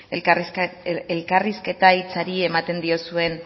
elkarrizketa hitzari ematen diozuen